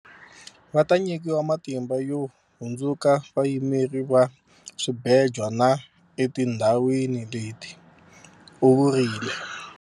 Va ta nyikiwa matimba yo hundzuka vayimeri va swibejwa na etindhawini leti, u vurile.